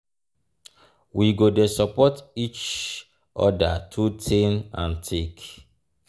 we go dey support each oda through thick and thin.